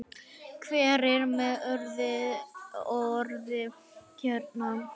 Hver er með orðið hérna?